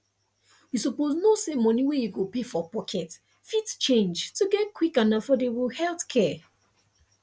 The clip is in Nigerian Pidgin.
you suppose know say money wey you go pay from pocket fit change to get quick and affordable healthcare